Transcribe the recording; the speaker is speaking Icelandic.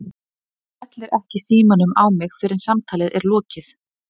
Þú skellir ekki símanum á mig fyrr en samtali er lokið!!!